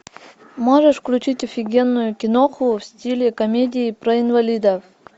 можешь включить офигенную киноху в стиле комедии про инвалидов